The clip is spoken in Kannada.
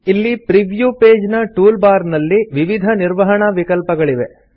ಇಲ್ಲಿ ಪ್ರೀವ್ಯೂ ಪೇಜ್ ನ ಟೂಲ್ ಬಾರ್ ನಲ್ಲಿ ವಿವಿಧ ನಿರ್ವಹಣಾ ವಿಕಲ್ಪಗಳಿವೆ